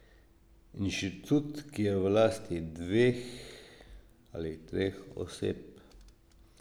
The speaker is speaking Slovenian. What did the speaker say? Inštitut, ki je v lasti dveh ali treh oseb.